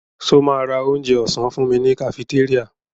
Ṣo ma ra onjẹ ọ̀sán fúnmi ní kafitéríà?